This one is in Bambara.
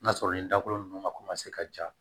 N'a sɔrɔ nin dakolo ninnu ka ka ja